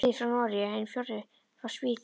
Sá þriðji frá Noregi, hinn fjórði frá Svíþjóð.